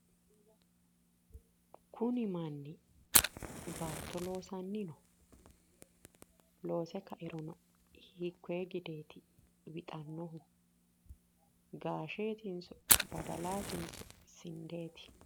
Kuni manni baatto loosanni no, loose kairo hiikkonne gideeti wixaahu gaasheetinso badalaatinso sindeeti?